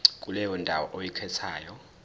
kuleyo ndawo oyikhethayo